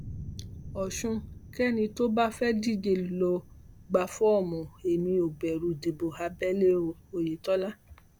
ọ̀ṣun kẹ́nì tó bá fẹ́ díje lọ gba fọ́ọ̀mù èmi ò bẹ̀rù ìdìbò abẹlé o oyètọ́lá